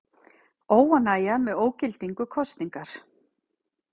Óánægja með ógildingu kosningar